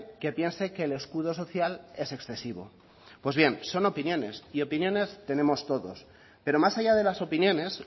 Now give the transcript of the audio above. que piense que el escudo social es excesivo pues bien son opiniones y opiniones tenemos todos pero más allá de las opiniones